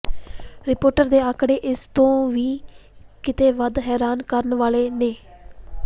report ਦੇ ਅੰਕੜੇ ਇਸ ਤੋਂ ਵੀ ਕਿਤੇ ਵੱਧ ਹੈਰਾਨ ਕਰਨ ਵਾਲੇ ਨੇ